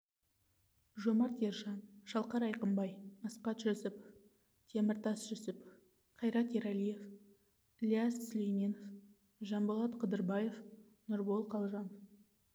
жомарт ержан шалқар айқынбай асқат жүсіпов теміртас жүсіпов қайрат ералиев ілияс сүлейменов жанболат қыдырбаев нұрбол қалжанов